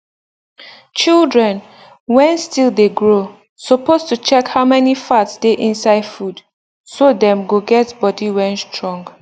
children wen still de grow suppose to check how many fat dey inside food so dem go get body wen strong